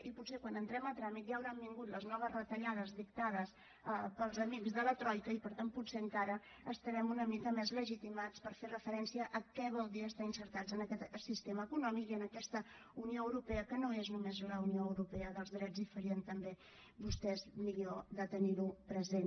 i potser quan entrem a tràmit ja hauran vingut les noves retallades dictades pels amics de la troica i per tant potser encara estarem una mica més legitimats per fer referencia a què vol dir estar inserits en aquest sistema econòmic i en aquesta unió europea que no és només la unió europea dels drets i farien també vostès millor de tenir ho present